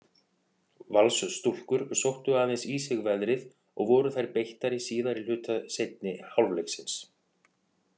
Valsstúlkur sóttu aðeins í sig veðrið og voru þær beittari síðari hluta seinni hálfleiksins.